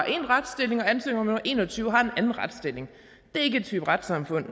én retsstilling og ansøger nummer en og tyve har en anden retsstilling det er ikke en type retssamfund